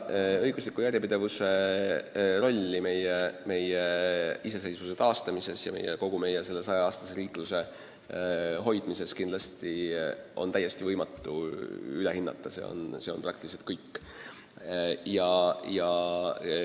Õigusliku järjepidevuse rolli meie iseseisvuse taastamisel ja kogu meie 100 aastat tagasi alguse saanud riikluse hoidmisel on võimatu üle hinnata – see on praktiliselt kõige alus.